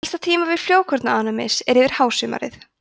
helsta tímabil frjókornaofnæmis er yfir hásumarið